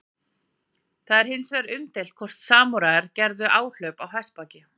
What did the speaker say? Það er hins vegar umdeilt hvort samúræjar gerðu áhlaup á hestbaki.